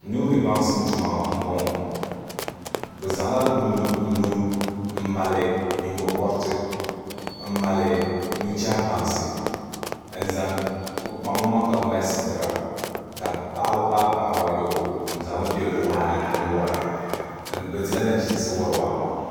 Nuuni baŋsim tuma n bɔŋɔ bi zaŋla nuu n mali nyingokoriti n mali nuchɛhi bansi bi kpaŋ bi maŋ ka bi mali sitira ka paɣaba paai paɣaba ayobu n zaŋli bɛ waa ni n wora bi dila nachiinsi wori waa maa